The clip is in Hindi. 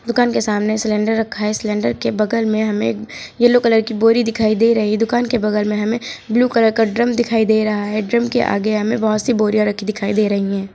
दुकान के सामने सिलेंडर रखा है सिलेंडर के बगल में हमें एक येलो कलर की बोरी दिखाई दे रही है दुकान के बगल में हमें ब्लू कलर का ड्रम दिखाई दे रहा है ड्रम के आगे हमें बहुत सी बोरियां रखी दिखाई दे रही हैं।